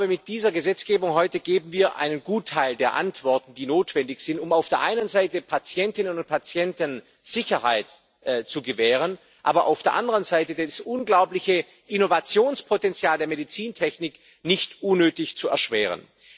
Mit dieser Gesetzgebung heute geben wir einen Gutteil der Antworten, die notwendig sind, um auf der einen Seite Patientinnen und Patienten Sicherheit zu gewähren, aber auf der anderen Seite das unglaubliche Innovationspotenzial der Medizintechnik nicht unnötig zu erschweren.